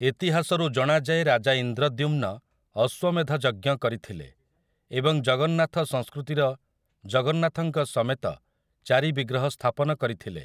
ଇତିହାସରୁ ଜଣାଯାଏ ରାଜା ଇନ୍ଦ୍ରଦ୍ୟୁମ୍ନ ଅଶ୍ୱମେଧ ଯଜ୍ଞ କରିଥିଲେ ଏବଂ ଜଗନ୍ନାଥସଂସ୍କୃତିର ଜଗନ୍ନାଥଙ୍କ ସମେତ ଚାରି ବିଗ୍ରହ ସ୍ଥାପନ କରିଥିଲେ ।